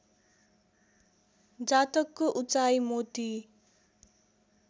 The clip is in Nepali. जातकको उचाइ मोती